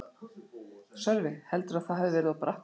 Sölvi: Heldurðu að það hafi verið of bratt hjá þér?